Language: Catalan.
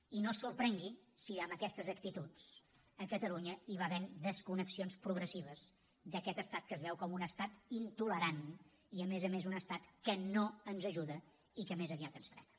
i no es sorprengui si amb aquestes actituds a catalunya hi va havent desconnexions progressives d’aquest estat que es veu com un estat intolerant i a més a més un estat que no ens ajuda i que més aviat ens frena